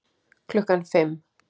Klukkan fimm.